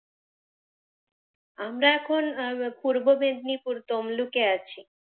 আমরা এখন পূর্ব মেদিনীপুর তমলুক এ আছি।